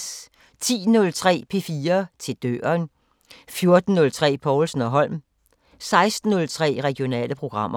10:03: P4 til døren 14:03: Povlsen & Holm 16:03: Regionale programmer